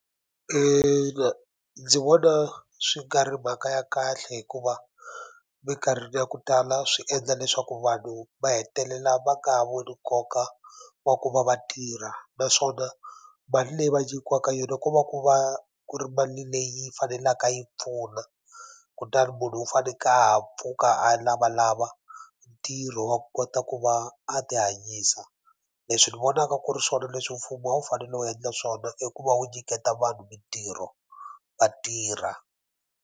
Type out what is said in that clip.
ndzi vona swi nga ri mhaka ya kahle hikuva minkarhini ya ku tala swi endla leswaku vanhu va hetelela va nga ha voni nkoka wa ku va va tirha naswona mali leyi va nyikiwaka yona ko va ku va ku ri mali leyi faneleka yi pfuna kutani munhu u faneke a ha pfuka a lavalava ntirho wa ku kota ku va a ti hanyisa leswi ni vonaka ku ri swona leswi mfumo a wu fanele wu endla swona i ku va wu nyiketa vanhu mitirho va tirha.